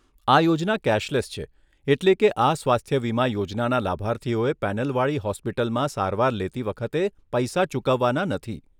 આ યોજના કેશલેસ છે, એટલે કે આ સ્વાસ્થ્ય વીમા યોજનાના લાભાર્થીઓએ પેનલવાળી હોસ્પિટલમાં સારવાર લેતી વખતે પૈસા ચૂકવવાના નથી.